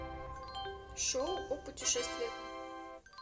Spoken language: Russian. шоу о путешествиях